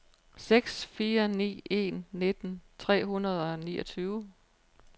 seks fire ni en nitten tre hundrede og niogtyve